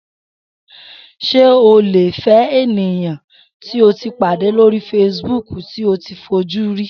S̩e o lè ènìyàn tí o pàdé lórí facebook tí o ò tíì fojú rí?